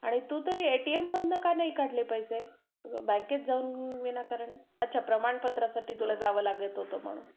आणि तू तरी एटीएम मधून का नाही काढले पैसे? बँकेत जाऊन विनाकारण, अच्छा प्रमाणपत्रासाठी तुला बँकेत जावं लागलं होतं म्ह्णून